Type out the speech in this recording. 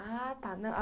Ah, tá.